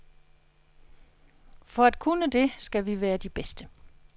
For at kunne det skal vi være de bedste.